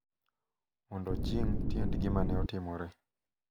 mondo ojing’ tiend gima ne otimore,